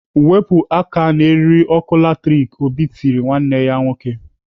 "Wepụ aka n'eriri ọkụ latrik!" Obi tiri nwanne ya nwoke.